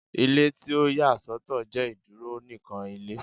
Ile ti o ya sọtọ jẹ iduro nikan Ilé